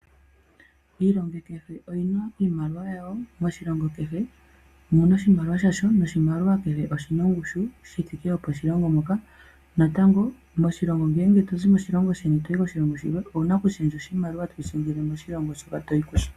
Iilongo kehe oyina iimaliwa yawo, oshilongo kehe omuna oshimaliwa shasho, noshimaliwa kehe oshina ongushu yi thike yoposhilongo moka, natango ngele otozi moshilongo sheni toyi koshilongo shilwe owuna oku shendja oshimaliwa toshi shendjele koshilongo shoka toyi kusho.